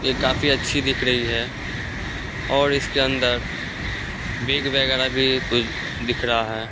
ये काफी अच्छी दिख रही है और इसके अंदर बिग वगैर भी कुछ दिख रहा है।